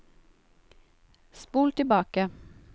spol tilbake